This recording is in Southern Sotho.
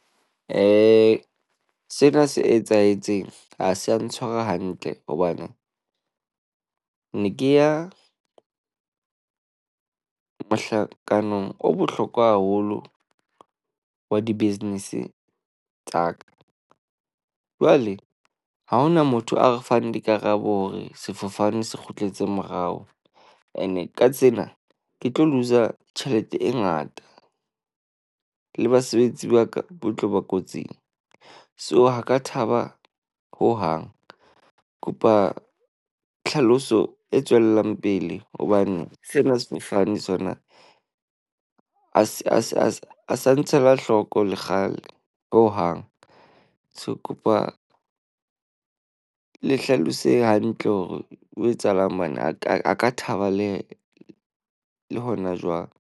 Eh, sena se etsahetseng ha se ya ntshwara hantle hobane ne ke ya mohlakanong o bohlokwa haholo wa di-business tsa ka. Jwale ha hona motho a re fang dikarabo hore sefofane se kgutletse morao. Ene ka tsena ke tlo le loos-a tjhelete e ngata, le basebetsi ba ka ba tlo ba kotsing. So ha ka thaba hohang, kopa tlhaloso e tswellang pele hobane sena sefofane sona a ng se a se a sa ntsha Ela hloko le kgale hohang. So kopa le hlalosehe hantle hore o etsahalang. Ngwana a ka a ka thaba lehe le hona jwang .